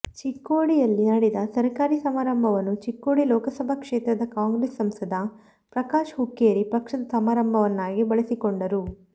ಚಿಕ್ಕೋಡಿಯಲ್ಲಿ ನಡೆದ ಸರಕಾರಿ ಸಮಾರಂಭವನ್ನು ಚಿಕ್ಕೋಡಿ ಲೋಕಸಭಾ ಕ್ಷೇತ್ರದ ಕಾಂಗ್ರೆಸ್ ಸಂಸದ ಪ್ರಕಾಶ ಹುಕ್ಕೇರಿ ಪಕ್ಷದ ಸಮಾರಂಭವನ್ನಾಗಿ ಬಳಿಸಿಕೊಂಡರು